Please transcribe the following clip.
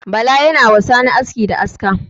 Bala ya na wa sani aski da aska.